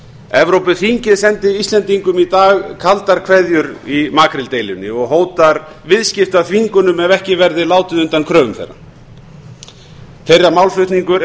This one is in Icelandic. evrópuþingið sendi íslendingum í dag kaldar kveðjur í makríldeilunni og hótar viðskiptaþvingunum ef ekki verður látið undan kröfum þeirra þeirra málflutningur er